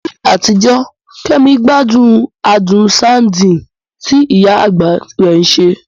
Ní àtijọ́, Kemi gbádùn adùn ṣándíìtì tí ìyá àgbà rẹ̀ ṣe.